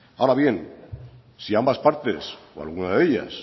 ahora bien si ambas partes o alguna de ellas